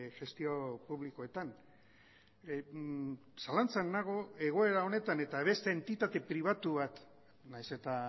gestio publikoetan zalantzan nago egoera honetan eta beste entitate pribatu bat nahiz eta